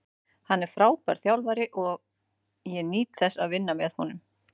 Hann er frábær þjálfari og ég nýt þess að vinna með honum.